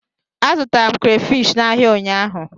Azụtara m krafish n'ahịa ụnyaahụ.